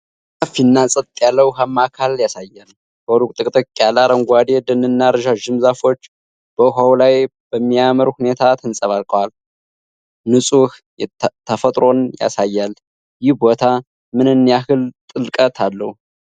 ሰፊና ጸጥ ያለ ውሃማ አካል ያሳያል። በሩቅ ጥቅጥቅ ያለ አረንጓዴ ደንና ረዣዥም ዛፎች በውሃው ላይ በሚያምር ሁኔታ ተንጸባርቀዋል። ንጹህ ተፈጥሮን ያሳያል። ይህ ቦታ ምን ያህል ጥልቀት አለው?